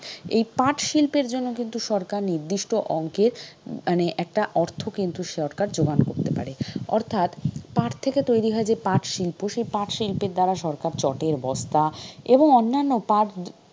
এই পাটশিল্পের জন্য কিন্তু সরকার নির্দিষ্ট অঙ্কের মানে একটা অর্থ কিন্তু সরকার জোগান করতে পারে। অর্থাৎ পাট থেকে তৈরি হয় পাট শিল্প, সেই পাট শিল্পের দ্বারা সরকার চটের বস্তা এবং অন্যান্য পাট,